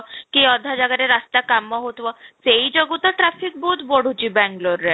କି ଅଧା ଜାଗାରେ ରାସ୍ତା କାମ ହଉଥିବ, ସେଇ ଯୋଗୁଁ ତ traffic ବହୁତ ବଢୁଛି ବାଙ୍ଗାଲୁରରେ